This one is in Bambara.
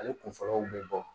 Ale kun fɔlɔw bɛ bɔ